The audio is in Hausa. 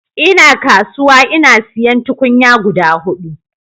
Ina kasuwa ina siyan tukunya guda hudu